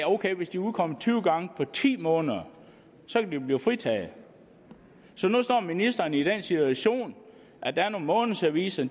ok hvis de udkommer tyve gange på ti måneder så kan de blive fritaget så nu står ministeren i den situation at der er nogle månedsaviser